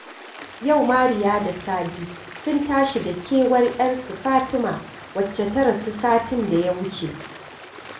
Yau Mariya da Sadi sun tashi da kewar 'yarsu Fatima wacce ta rasu satin da ya wuce